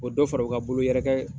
O dɔ fara u ka bolo yɛrɛkɛ